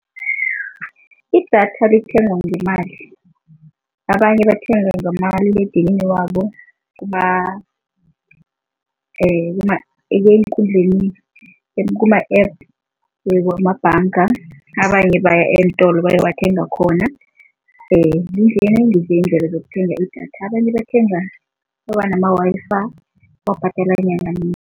Idatha lithengwa ngemali, abanye bathenga ngomaliledinini wabo eenkundleni kuma-App wamabhanga. Abanye baya eentolo bayowathenga khona iindlela zokuthenga idatha. Abanye bathenga nama-Wi-Fi babhadala